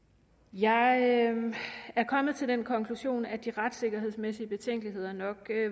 jeg er kommet til den konklusion at de retssikkerhedsmæssige betænkeligheder nok